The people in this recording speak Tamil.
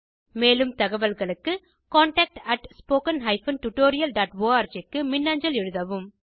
மேலும் தகவல்களுக்கு contactspoken tutorialorg க்கு மின்னஞ்சல் எழுதவும்